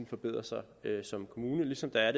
forbedrer sig som kommune ligesom der er